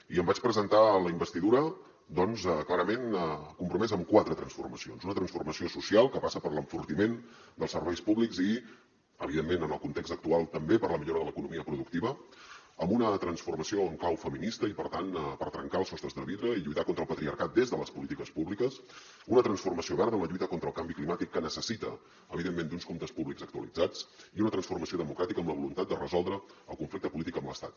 i em vaig presentar a la investidura doncs clarament compromès amb quatre transformacions una transformació social que passa per l’enfortiment dels serveis públics i evidentment en el context actual també per la millora de l’economia productiva amb una transformació en clau feminista i per tant per trencar els sostres de vidre i lluitar contra el patriarcat des de les polítiques públiques una transformació verda en la lluita contra el canvi climàtic que necessita evidentment uns comptes públics actualitzats i una transformació democràtica amb la voluntat de resoldre el conflicte polític amb l’estat